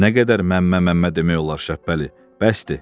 Nə qədər məmmə, məmmə demək olar Şəhbəli?